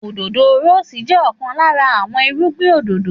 Òdòdó rọ́ọ́sì jẹ́ ọ̀kan lára àwọn irúgbìn òdòdó